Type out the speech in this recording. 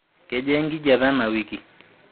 kejaa enkijape ena wiki